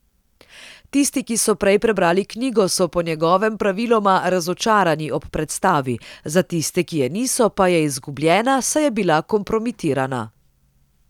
Tisti, ki so prej prebrali knjigo, so po njegovem praviloma razočarani ob predstavi, za tiste, ki je niso, pa je izgubljena, saj je bila kompromitirana.